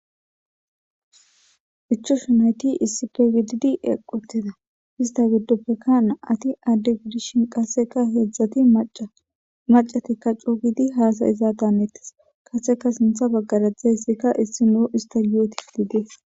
ichus yunayti issi kgididi equteda hista giddoppekkana ati adde gidishin qasseka heedzdzati macatikka cu gidi haasayizaataneettes kaseka sintha baggarajzdzayssikka issi nuu ista yootif didees